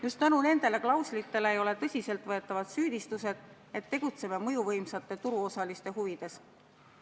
Just tänu nendele klauslitele ei ole tõsiselt võetavad süüdistused, et me tegutseme mõjuvõimsate turuosaliste huvides.